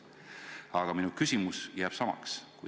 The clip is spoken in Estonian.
Aga minu küsimus jääb samaks.